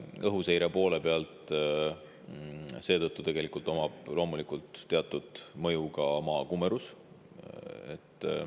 Õhuseire poole pealt omab teatud mõju ka Maa kumerus.